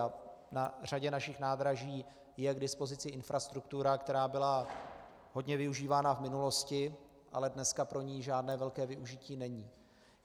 A na řadě našich nádraží je k dispozici infrastruktura, která byla hodně využívána v minulosti, ale dneska pro ni žádné velké využití není.